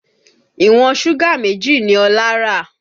Ìwọ̀n súgà méjì ni Ọlá rà